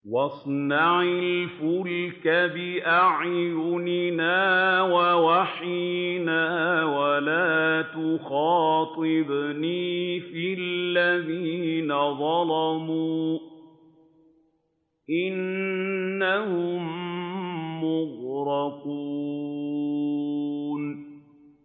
وَاصْنَعِ الْفُلْكَ بِأَعْيُنِنَا وَوَحْيِنَا وَلَا تُخَاطِبْنِي فِي الَّذِينَ ظَلَمُوا ۚ إِنَّهُم مُّغْرَقُونَ